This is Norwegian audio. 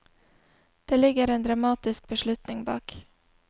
Det ligger en dramatisk beslutning bak.